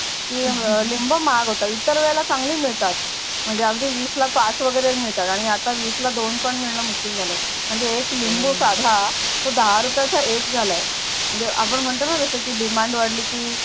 की लिंब महाग होतात इतर वेळेला चांगली मिडतात म्हणजे आधी विसला पाच वगेरे मिडतात आणि आता विसला दोन पण मिडण मुसकील झाल आहे म्हणजे एक लिंबू साधा तो दहा रुपयचा एक झाला आहे म्हणजे आपण म्हणतो जस की Demand वाडल की